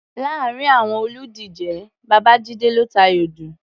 Láàárin àwọn olùdíje, Babájíde ló tayọ jù.